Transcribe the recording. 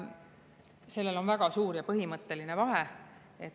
Sellel on väga suur ja põhimõtteline vahe.